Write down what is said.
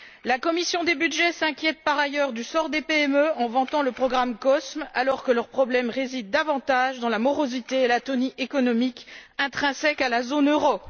La commission des budgets s'inquiète par ailleurs du sort des PME en vantant le programme COSME, alors que leurs problèmes résident davantage dans la morosité et l'atonie économique intrinsèque à la zone euro.